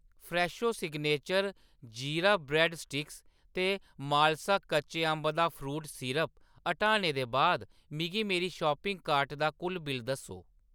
Fresho signature jeera bread sticks ते मालस कच्चे अंबें दा फ्रूट सिरप हटाने दे बाद मिगी मेरी शापिंग कार्ट दा कुल बिल्ल दस्सो